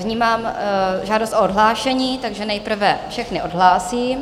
Vnímám žádost o odhlášení, takže nejprve všechny odhlásím.